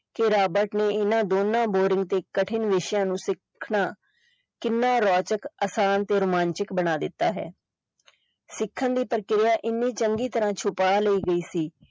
ਕਿ ਰਾਬਰਟ ਨੇ ਇਹਨਾਂ ਦੋਨਾਂ boring ਤੇ ਕਠਿਨ ਵਿਸ਼ਿਆਂ ਨੂੰ ਸਿੱਖਣਾ ਕਿੰਨਾ ਰੋਚਕ ਆਸਾਨ ਤੇ ਰੋਮਾਂਚਕ ਬਣਾ ਦਿੱਤਾ ਹੈ ਸਿੱਖਣ ਦੀ ਪ੍ਰਕਿਰਿਆ ਇੰਨੀ ਚੰਗੀ ਤਰਾਂ ਛੁਪਾ ਲਈ ਗਈ ਸੀ।